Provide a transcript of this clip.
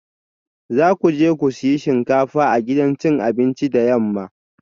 Za ku je ku sayi shinkafa a gidan cin abinci da yamma